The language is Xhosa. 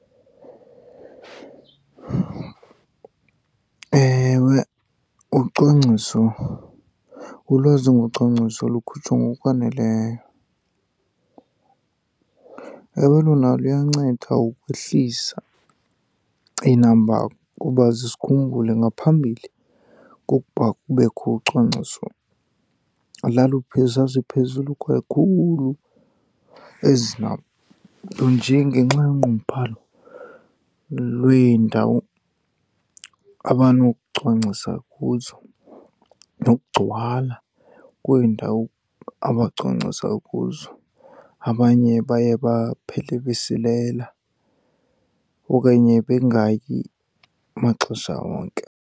Ewe ucwangciso, ulwazi ngocwangciso lukhutshwa ngokwaneleyo. Ewe, lona luyanceda ukwehlisa iinamba, kuba ze sikhumbule ngaphambili kukuba kubekho ucwangciso zaziphezulu kakhulu ezi namba. Nto nje ngenxa yonqunguphalo lweendawo abanokucwangcisa kuzo nokugcwala kweendawo abacwangcisa kuzo, abanye baye baphele besilela okanye bengayi maxesha onke.